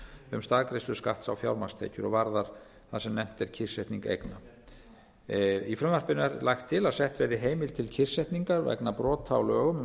um staðgreiðslu skatts á fjármagnstekjur varðar það sem nefnt er kyrrsetning eigna í frumvarpinu er lagt til að sett verði heimild til kyrrsetningar vegna brota á lögum um